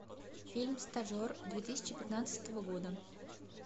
фильм стажер две тысячи пятнадцатого года